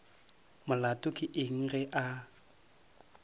molato ke eng ge a